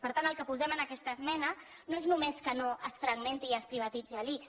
per tant el que posem en aquesta esmena no és només que no es fragmenti i es privatitzi l’ics